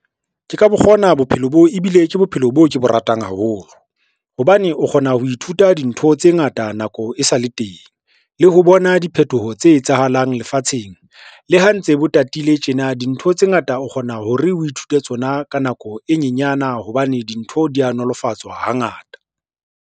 Ke ka bo kgona bophelo bo, ebile ke bophelo boo ke bo ratang haholo, hobane o kgona ho ithuta dintho tse ngata nako e sa le teng, le ho bona diphethoho tse etsahalang lefatsheng. Le ha ntse bo tatile tjena, dintho tse ngata o kgona hore o ithute tsona ka nako e nyenyana hobane dintho di a nolofatswa hangata.